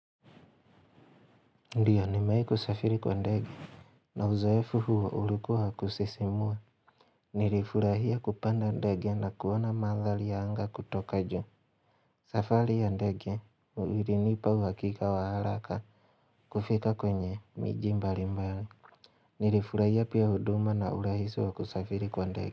Ndio nimae kusafiri kwa ndege iNa uzoefu huo ulikua wa kusisimua Nilifurahia kupanda ndege na kuona madhali ya anga kutoka ju Safali ya ndege uirinipa uhakika wa halaka kufika kwenye miji mbali mbali Nilifurahia pia huduma na urahisi wa kusafiri kwa ndege.